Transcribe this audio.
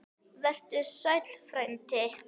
Vertu sæll frændi.